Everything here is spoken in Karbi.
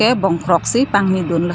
bongkrok si pangni lun lo.